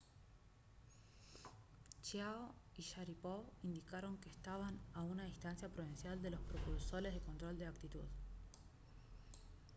chiao y sharipov indicaron que estaban a una distancia prudencial de los propulsores de control de actitud